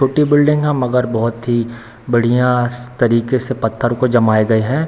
टुटी बिल्डिंग है मगर बहुत ही बढ़िया तरीके से पत्थर को जमाए गए हैं।